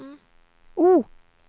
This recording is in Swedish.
O